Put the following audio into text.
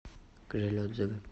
гжель отзывы